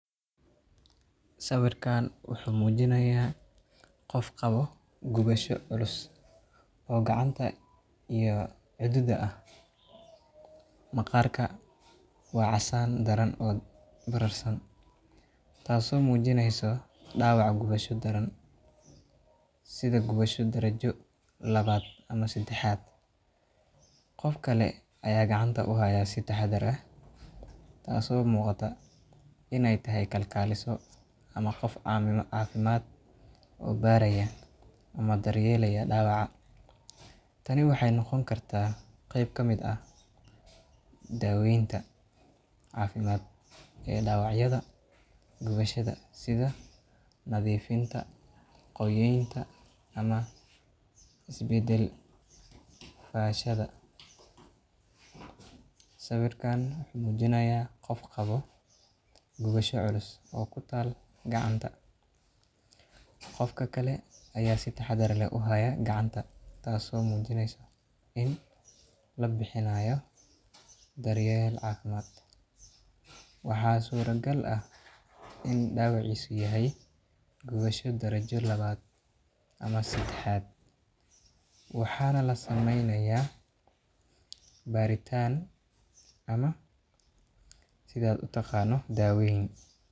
Halkan wuxuu mujinaaya qof qabo gunasho culus, maqaarka waa casaan daran, taas oo mujineyso gubasho daran, qof kale ayaa gacanta uhaaya si taxadar leh, waxeey noqon kartaa qeyn kamid ah dawacyasha gubashada, sida daqista ama is badalka fashada, qof ka kale ayaa si taxadar leh uhaaya gacanta, waxa surta gal eh inuu dawiciisa yahay guabsha darajo labada ama sedexaad, waxaa labixinaya daween, taas oo gacanta si fashada loogu xiro.